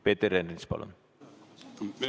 Peeter Ernits, palun!